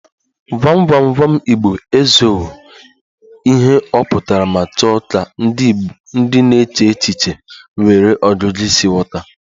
Gwam gwam gwam igbo ezowo ihe ọ pụtara ma chọọ ka ndị na-eche echiche nwere ọgụgụ isi ghọta